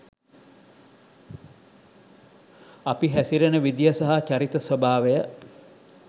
අපි හැසිරෙන විදිය සහ චරිත ස්වභාවය